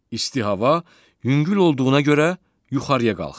İsti hava yüngül olduğuna görə yuxarıya qalxır.